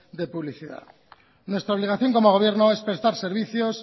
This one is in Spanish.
de publicidad nuestra obligación como gobierno es prestar servicios